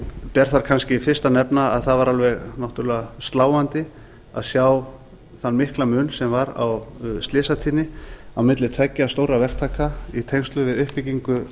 ber þar kannski fyrst að nefna að það var alveg náttúrlega sláandi að sjá þann mikla mun sem var á slysatíðni á milli tveggja stórra verktaka í tengslum við uppbyggingu